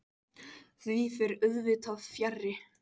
Því fer auðvitað fjarri.